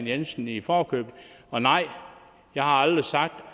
jensen i forkøbet og nej jeg har aldrig sagt